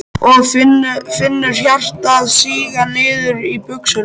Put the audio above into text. Og finnur hjartað síga niður í buxurnar.